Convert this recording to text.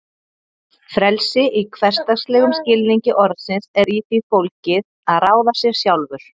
Frelsi í hversdagslegum skilningi orðsins er í því fólgið að ráða sér sjálfur.